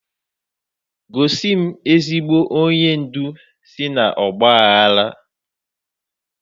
Gosi m ezigbo onye ndu si n'ọgba aghara!